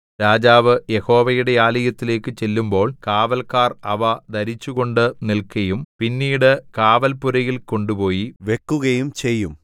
രാജാവ് യഹോവയുടെ ആലയത്തിലേക്കു ചെല്ലുമ്പോൾ കാവൽക്കാർ അവ ധരിച്ചുകൊണ്ട് നിൽക്കയും പിന്നീട് കാവൽപ്പുരയിൽ കൊണ്ടുപോയി വെക്കുകയും ചെയ്യും